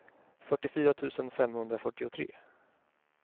fyrtiofyra tusen femhundrafyrtiotre